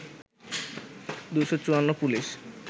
২৫৪ police